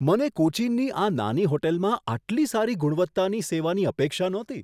મને કોચીનની આ નાની હોટલમાં આટલી સારી ગુણવત્તાની સેવાની અપેક્ષા નહોતી!